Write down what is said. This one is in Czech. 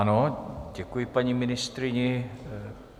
Ano, děkuji paní ministryni.